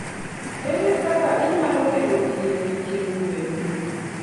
Ere kaka inyalo gengo tiyo gi chiemb gwen?